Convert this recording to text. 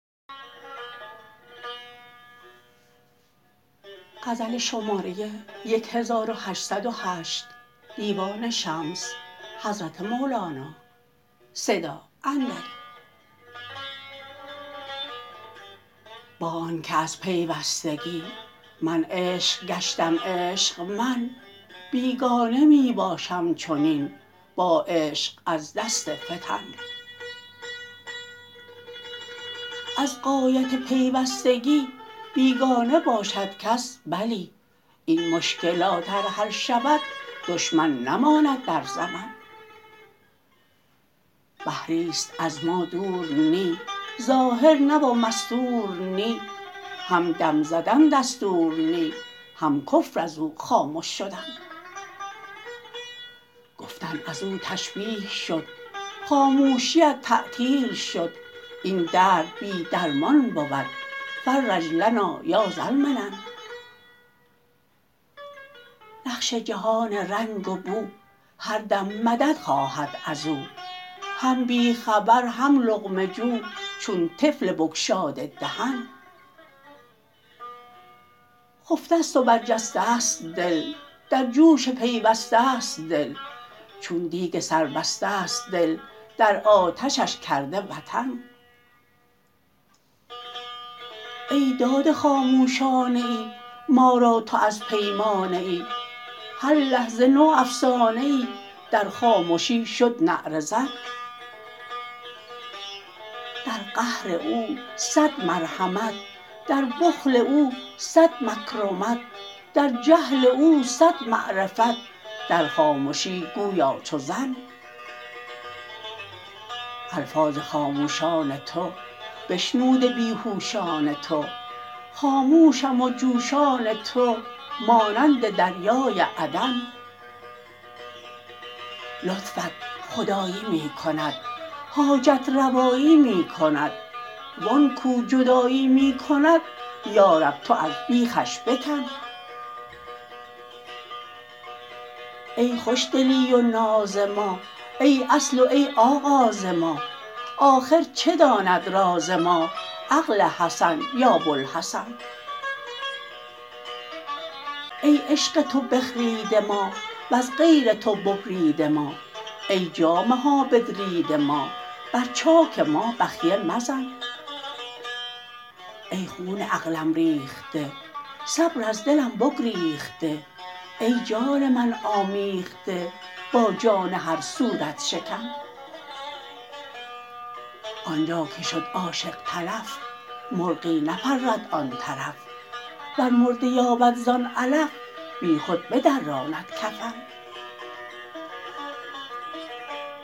با آنک از پیوستگی من عشق گشتم عشق من بیگانه می باشم چنین با عشق از دست فتن از غایت پیوستگی بیگانه باشد کس بلی این مشکلات ار حل شود دشمن نماند در زمن بحری است از ما دور نی ظاهر نه و مستور نی هم دم زدن دستور نی هم کفر از او خامش شدن گفتن از او تشبیه شد خاموشیت تعطیل شد این درد بی درمان بود فرج لنا یا ذا المنن نقش جهان رنگ و بو هر دم مدد خواهد از او هم بی خبر هم لقمه جو چون طفل بگشاده دهن خفته ست و برجسته ست دل در جوش پیوسته ست دل چون دیگ سربسته ست دل در آتشش کرده وطن ای داده خاموشانه ای ما را تو از پیمانه ای هر لحظه نوافسانه ای در خامشی شد نعره زن در قهر او صد مرحمت در بخل او صد مکرمت در جهل او صد معرفت در خامشی گویا چو ظن الفاظ خاموشان تو بشنوده بی هوشان تو خاموشم و جوشان تو مانند دریای عدن لطفت خدایی می کند حاجت روایی می کند وان کو جدایی می کند یا رب تو از بیخش بکن ای خوشدلی و ناز ما ای اصل و ای آغاز ما آخر چه داند راز ما عقل حسن یا بوالحسن ای عشق تو بخریده ما وز غیر تو ببریده ما ای جامه ها بدریده ما بر چاک ما بخیه مزن ای خون عقلم ریخته صبر از دلم بگریخته ای جان من آمیخته با جان هر صورت شکن آن جا که شد عاشق تلف مرغی نپرد آن طرف ور مرده یابد زان علف بیخود بدراند کفن